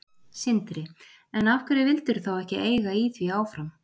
Sindri: En af hverju vildirðu þá ekki eiga í því áfram?